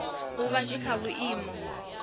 u vha zwi kha vhuimo